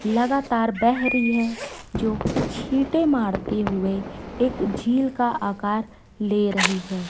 लगातार बह रहीं है जो छींटे मारते हुए एक झील का आकार ले रहीं है।